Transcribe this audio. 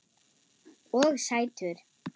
Og sætur.